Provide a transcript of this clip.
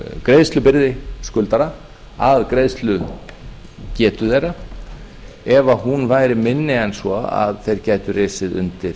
greiðslubyrði skuldara að greiðslugetu þeirra ef hún væri minni en svo að þeir gætu risið undir